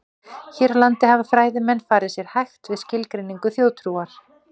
Hér á landi hafa fræðimenn farið sér hægt við skilgreiningu þjóðtrúar.